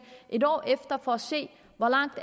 et år efter for at se hvor langt